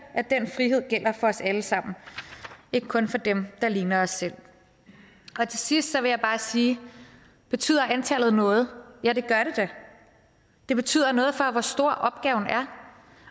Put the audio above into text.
at den frihed gælder for os alle sammen ikke kun for dem der ligner os selv til sidst vil jeg bare sige betyder antallet noget ja det gør det da det betyder noget for hvor stor opgaven er